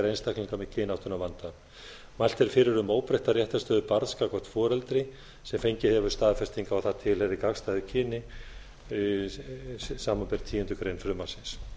einstaklinga með kynáttunarvanda mælt er fyrir um óbreytta réttarstöðu barns gagnvart foreldri sem fengið hefur staðfestingu á að það tilheyri gagnstæðu kyni samanber tíundu greinar frumvarpsins